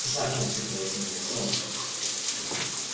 за окном светило зимнее солнце